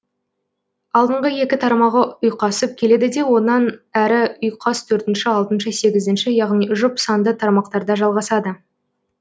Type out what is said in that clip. алдыңғы екі тармағы ұйқасып келеді де онан әрі ұйқас төртінші алтыншы сегізінші яғни жұп санды тармақтарда жалғасады